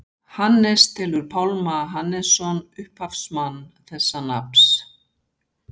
hannes telur pálma hannesson upphafsmann þessa nafns